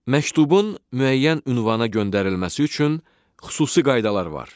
Məktubun müəyyən ünvana göndərilməsi üçün xüsusi qaydalar var.